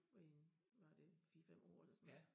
I var det 4 5 år eller sådan noget